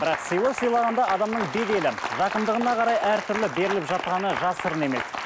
бірақ сыйлық сыйлағанда адамның беделі жақындығына қарай әртүрлі беріліп жатқаны жасырын емес